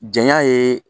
Janya ye